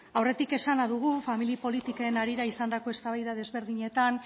aurretik esana dugu famili politiken harira izandako eztabaida ezberdinetan